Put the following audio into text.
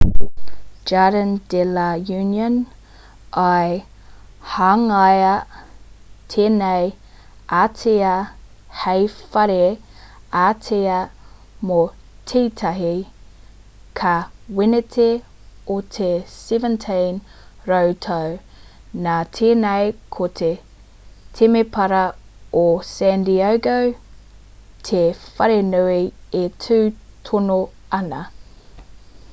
jardīn de la uniōn i hangaia tēnei ātea hei whare ātea mō tētahi kaweneti o te 17 rautau nā tēnei ko te temepara o san diego te wharenui e tū tonu ana